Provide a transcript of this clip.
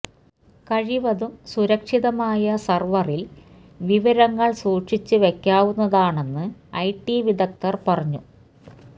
കഴിവതും സുരക്ഷിതമായ സര്വറില് വിവരങ്ങള് സൂക്ഷിച്ച് വെക്കാവുന്നതാണെന്ന് ഐ ടി വിദഗ്ധര് പറഞ്ഞു